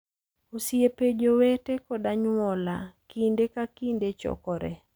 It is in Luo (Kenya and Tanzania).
Osiepe, jowete, kod anyuola kinde ka kinde chokore